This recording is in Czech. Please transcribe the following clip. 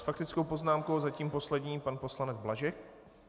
S faktickou poznámkou zatím poslední pan poslanec Blažek.